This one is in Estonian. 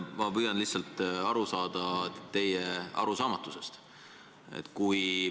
Ma püüan lihtsalt aru saada teie arusaamatusest.